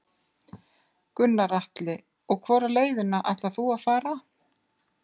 Gunnar Atli: Og hvora leiðina ætlar þú að fara?